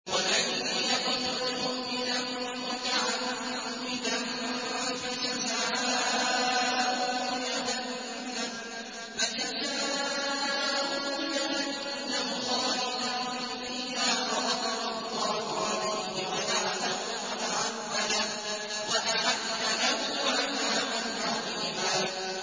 وَمَن يَقْتُلْ مُؤْمِنًا مُّتَعَمِّدًا فَجَزَاؤُهُ جَهَنَّمُ خَالِدًا فِيهَا وَغَضِبَ اللَّهُ عَلَيْهِ وَلَعَنَهُ وَأَعَدَّ لَهُ عَذَابًا عَظِيمًا